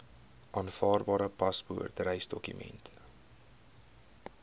aanvaarbare paspoort reisdokument